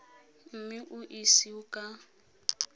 mme o e ise ka